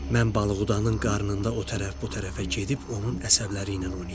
Mən balıqdanın qarnında o tərəf bu tərəfə gedib onun əsəbləri ilə oynayacam.